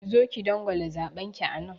Zo ki dangwala zaɓen ki anan!